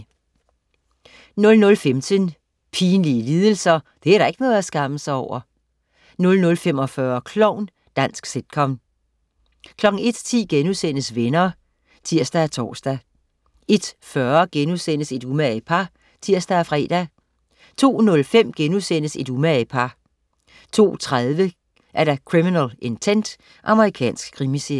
00.15 Pinlige lidelser. Det er da ikke noget at skamme sig over! 00.45 Klovn. Dansk sitcom 01.10 Venner* (tirs og tors) 01.40 Et umage par* (tirs og fre) 02.05 Et umage par* 02.30 Criminal Intent. Amerikansk krimiserie